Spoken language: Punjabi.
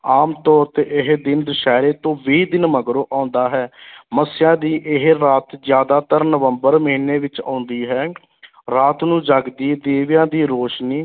ਆਮ ਤੌਰ ਤੇ ਇਹ ਦਿਨ ਦਸਹਿਰੇ ਤੋਂ ਵੀਹ ਦਿਨ ਮਗਰੋਂ ਆਉਂਦਾ ਹੈ ਮੱਸਿਆ ਦੀ ਇਹ ਰਾਤ ਜ਼ਿਆਦਾਤਰ ਨਵੰਬਰ ਮਹੀਨੇ ਵਿੱਚ ਆਉਂਦੀ ਹੈ ਰਾਤ ਨੂੰ ਜਗਦੀ ਦੀਵਿਆਂ ਦੀ ਰੋਸ਼ਨੀ